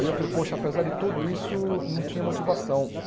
Aí eu falei, poxa, apesar de tudo isso, não tinha motivação.